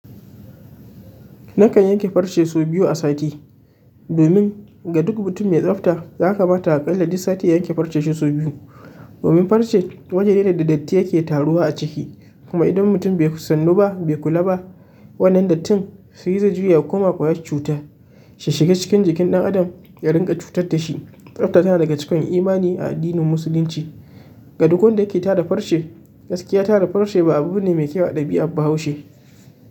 Nakan yanke farce sau biyu a sati. Domin ga duk mutum mai tsafta, ya kamata aƙalla duk sati ya yanke farcen shi sau biyu. Domin farce waje ne da datti yake taruwa a ciki. Kuma idan mutum bai sannu ba, bai kula ba wannan dattin, shi zai juya ya koma ƙwayar cuta. Shi shiga cikin jikin ɗan adam ya ringa cutar da shi. Tsafta tana daga cikin imani a addinin Musulunci. Ga duk wanda yake tara farce, gaskiya tara farce ba abu ne mai kyau da ɗabi'a ba a Haushe.